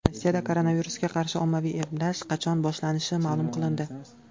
Rossiyada koronavirusga qarshi ommaviy emlash qachon boshlanishi ma’lum qilindi.